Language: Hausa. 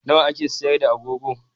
Nawa ake sayar da agogo?